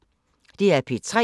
DR P3